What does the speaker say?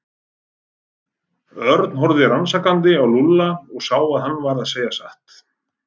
Örn horfði rannsakandi á Lúlla og sá að hann var að segja satt.